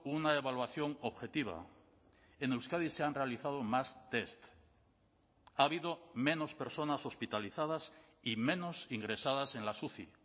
una evaluación objetiva en euskadi se han realizado más test ha habido menos personas hospitalizadas y menos ingresadas en las uci